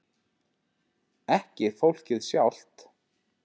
Ekki fólkið sjálft.